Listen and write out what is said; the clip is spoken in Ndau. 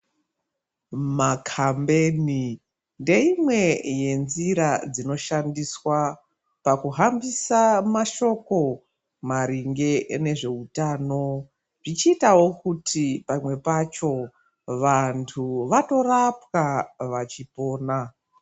Makhambani ndeimwe yenzira dzinoshandiswa pakuhambisa mashoko maringe nezveutano zvichiitawo kuti pamwe pacho vantu vanorapwa vachipona.